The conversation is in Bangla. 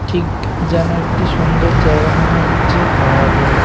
ঠিক যেন একটি সুন্দর জায়গা মনে হচ্ছে আর--